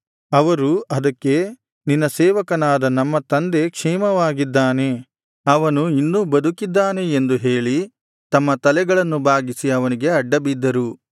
ಅವರು ಅದಕ್ಕೆ ನಿನ್ನ ಸೇವಕನಾದ ನಮ್ಮ ತಂದೆ ಕ್ಷೇಮವಾಗಿದ್ದಾನೆ ಅವನು ಇನ್ನೂ ಬದುಕಿದ್ದಾನೆ ಎಂದು ಹೇಳಿ ತಮ್ಮ ತಲೆಗಳನ್ನು ಬಾಗಿಸಿ ಅವನಿಗೆ ಅಡ್ಡಬಿದ್ದರು